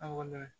Aw mana